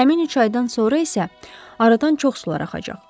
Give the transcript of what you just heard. Həmin üç aydan sonra isə aradan çox sular axacaq.